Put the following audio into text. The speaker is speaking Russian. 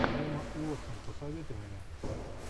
эмма уотсон посоветуй мне